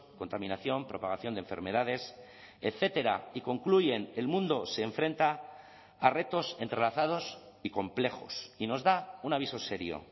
contaminación propagación de enfermedades etcétera y concluyen el mundo se enfrenta a retos entrelazados y complejos y nos da un aviso serio